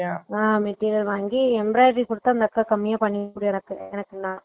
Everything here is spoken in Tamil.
ஆஹ் material வாங்கி embroidery குடுத்தா அந்த அக்கா கம்மியா பண்ணி குடுக்கும் எனக்கு